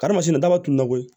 Karimasina ma tungolo koyi